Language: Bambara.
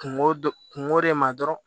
Kungo dɔ kungo de ma dɔrɔn